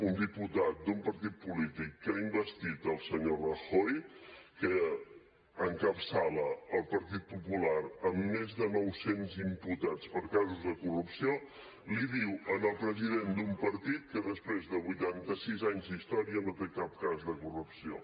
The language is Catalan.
un diputat d’un partit polític que ha investit el senyor rajoy que encapçala el partit popular amb més de nou cents imputats per casos de corrupció l’hi diu al president d’un partit que després de vuitanta sis anys d’història no té cap cas de corrupció